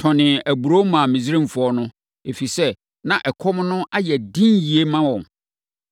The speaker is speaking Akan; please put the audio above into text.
tɔnee aburoo maa Misraimfoɔ no, ɛfiri sɛ, na ɛkɔm no ano yɛ den yie ma wɔn.